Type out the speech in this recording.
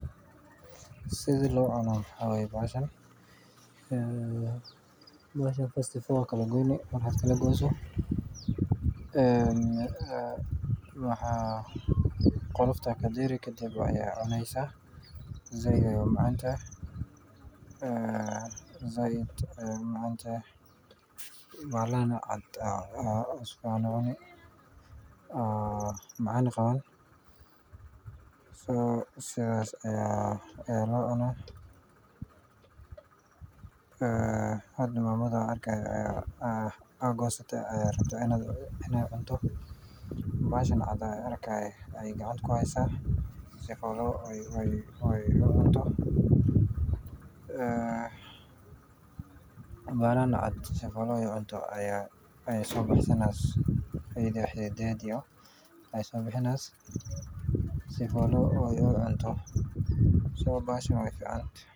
waa kalgooyni qolofta kadersa. said umacantehe bahalan caan cuni sidas locuna mama aya gosate rabta iney cunto basha caad iyo xidiidgeda sobaxsate sii ucunto bahashan wey ficante